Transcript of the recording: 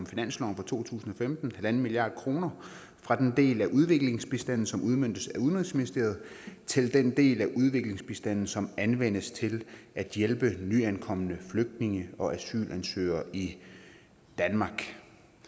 finansloven for to tusind og femten en milliard kroner fra den del af udviklingsbistanden som udmøntes af udenrigsministeriet til den del af udviklingsbistanden som anvendes til at hjælpe nyankomne flygtninge og asylansøgere i danmark